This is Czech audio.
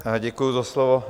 Děkuju za slovo.